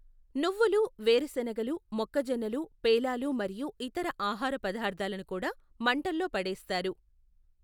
నువ్వులు, వేరుశెనగలు, మొక్కజొన్నలు పేలాలు మరియు ఇతర ఆహార పదార్థాలను కూడా మంటల్లో పడేస్తారు.